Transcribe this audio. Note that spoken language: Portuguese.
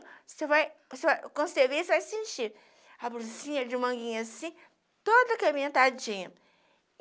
você vai, você vai. Quando você vê, você vai sentir a blusinha de manguinha assim, todo incrementadinha.